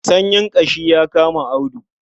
Sanyin ƙashi ya kama Audu.